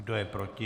Kdo je proti?